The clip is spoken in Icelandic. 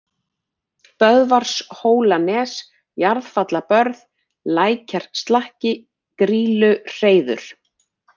Böðvarshólanes, Jarðfallabörð, Lækjarslakki, Grýluhreiður